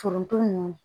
Foronto ninnu